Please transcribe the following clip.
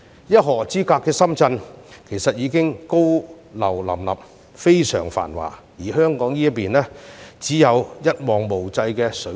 一河之隔的深圳其實已高樓林立，非常繁華，但香港這邊卻只有一望無際的水田。